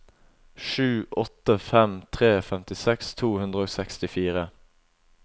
sju åtte fem tre femtiseks to hundre og sekstifire